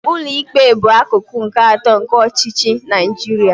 Ụlọikpe bụ akụkụ nke atọ nke ọchịchị na Naijiria.